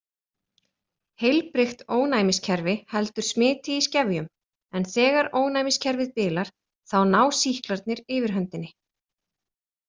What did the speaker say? Heilbrigt ónæmiskerfi heldur smiti í skefjum en þegar ónæmiskerfið bilar þá ná sýklarnir yfirhöndinni.